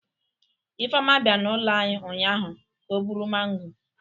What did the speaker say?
Ifeoma bia n'ulo anyi ụnyaahụ ka o buru maango